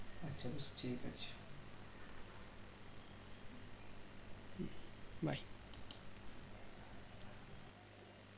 আচ্ছা বেশ ঠিক আছে